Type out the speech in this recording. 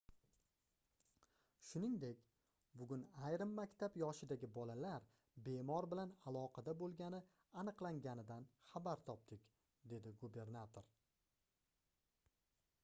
shuningdek bugun ayrim maktab yoshidagi bolalar bemor bilan aloqada boʻlgani aniqlanganidan xabar topdik - dedi gubernator